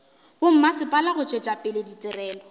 bommasepala go tšwetša pele ditirelo